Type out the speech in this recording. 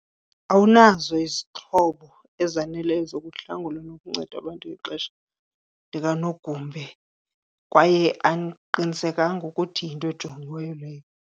Awunazo izixhobo ezaneleyo zokuhlangula nokunceda abantu ngexesha likanogumbe kwaye andiqinisekanga ukuthi yinto ejongiweyo leyo.